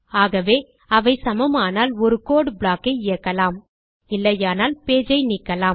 ஆகவே அவை சமமானால் ஒரு கோடு ப்ளாக் ஐ இயக்கலாம் இல்லையானால் பேஜ் ஐ நீக்கலாம்